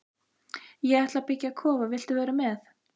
Ég ætla að byggja kofa, viltu vera með?